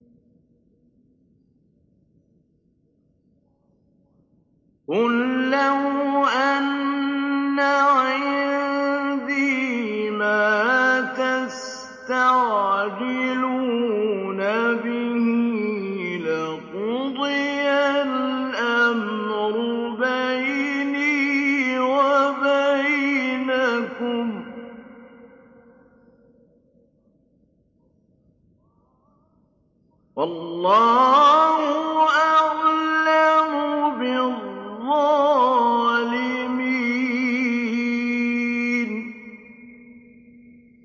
قُل لَّوْ أَنَّ عِندِي مَا تَسْتَعْجِلُونَ بِهِ لَقُضِيَ الْأَمْرُ بَيْنِي وَبَيْنَكُمْ ۗ وَاللَّهُ أَعْلَمُ بِالظَّالِمِينَ